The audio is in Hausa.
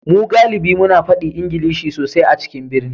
Mu galibi muna fadi Ingilishi sosai a cikin birni